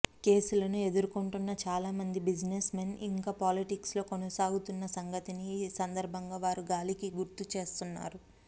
కేసులను ఎదుర్కొంటున్న చాలామంది బిజినెస్ మెన్ ఇంకా పాలిటిక్స్ లో కొనసాగుతున్న సంగతిని ఈ సందర్భంగా వారు గాలికి గుర్తుచేస్తున్నారు